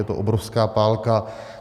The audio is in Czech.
Je to obrovská pálka.